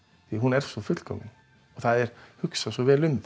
hún er svo fullkomin það er hugsað svo vel um